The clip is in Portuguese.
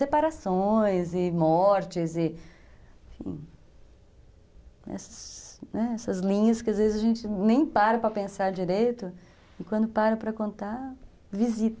Separações e mortes e, enfim, essas linhas que às vezes a gente nem para para pensar direito e quando para para contar, visita.